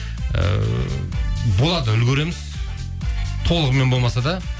ііі болады үлгіреміз толығымен болмаса да